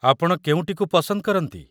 ଆପଣ କେଉଁଟିକୁ ପସନ୍ଦ କରନ୍ତି?